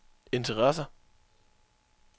interesser